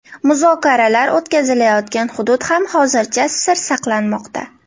Muzokaralar o‘tkazilayotgan hudud ham hozircha sir saqlanmoqda.